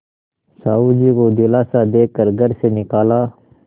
साहु जी को दिलासा दे कर घर से निकाला